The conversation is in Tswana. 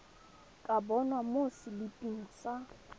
ka bonwa mo seliping sa